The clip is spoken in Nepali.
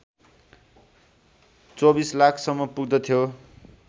२४ लाख सम्म पुग्दथ्यो